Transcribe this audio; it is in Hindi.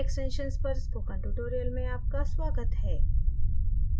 file extensions पर स्पोकन tutorial में आपका स्वागत है